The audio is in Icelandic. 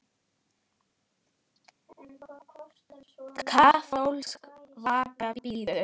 Kaþólsk vaka bíður.